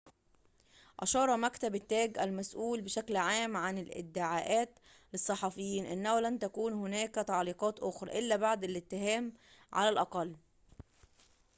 أشار مكتب التاج المسؤول بشكل عام عن الادعاءات للصحفيين أنه لن تكون هناك تعليقات أخرى إلا بعد الاتهام على الأقل